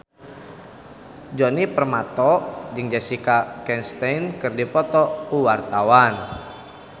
Djoni Permato jeung Jessica Chastain keur dipoto ku wartawan